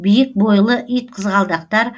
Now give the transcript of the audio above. биік бойлы итқызғалдақтар